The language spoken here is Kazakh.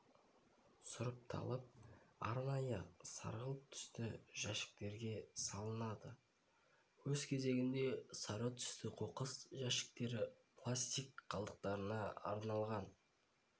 сұрыпталып арнайы сарғылт түсті жәшіктерге салынады өз кезегінде сары түсті қоқыс жәшіктері пластик қалдықтарына арналған